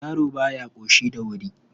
Yaro ba ya ƙoshi da wuri..